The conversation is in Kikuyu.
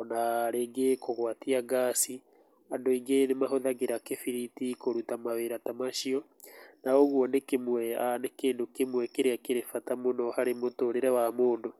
ona rĩngĩ kũgwatia ngaaci, andũ aingĩ nĩ mahũthagĩra kĩbiriti kũruta mawĩra ta macio na ũguo nĩ kĩndũ kĩmwe kĩrĩa kĩrĩ bata mũno harĩ mũtũrĩre wa mũndũ.